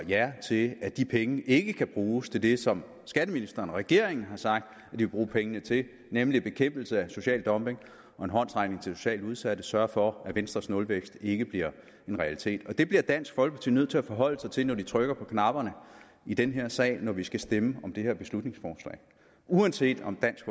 ja til at de penge ikke kan bruges til det som skatteministeren og regeringen har sagt de vil bruge pengene til nemlig til bekæmpelse af social dumping og en håndsrækning til socialt udsatte man sørger for at venstres nulvækst ikke bliver en realitet det bliver dansk folkeparti nødt til at forholde sig til inden de trykker på knapperne i den her sag når vi skal stemme om det her beslutningsforslag uanset om dansk